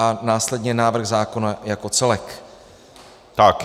A následně návrh zákona jako celek.